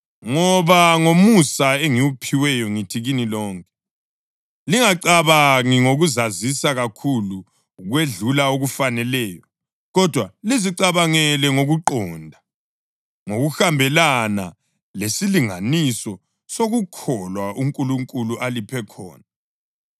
Ngoba ngomusa engiwuphiweyo ngithi kini lonke: Lingacabangi ngokuzazisa kakhulu ukwedlula okufaneleyo, kodwa lizicabangele ngokuqonda, ngokuhambelana lesilinganiso sokukholwa uNkulunkulu aliphe khona.